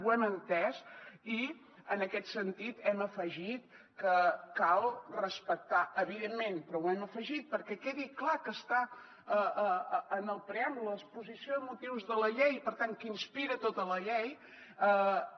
ho hem entès i en aquest sentit hem afegit que cal respectar evidentment però ho hem afegit perquè quedi clar que està en el preàmbul en l’exposició de motius de la llei i per tant que inspira tota la llei